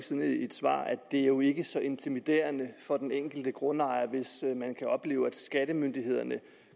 siden i et svar at det jo ikke er så intimiderende for den enkelte grundejer hvis man kan opleve at skattemyndighederne